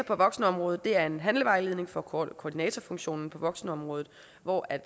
på voksenområdet er der en handlevejledning for koordinatorfunktionen på voksenområdet hvor